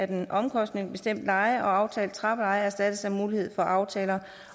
den omkostningsbestemte leje og aftalt trappeleje erstattes af mulighed for aftaler